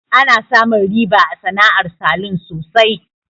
Ana samun riba a sana'ar salun sosai.